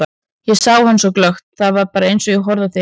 Ég sá hann svo glöggt, það var bara eins og ég horfi á þig hérna.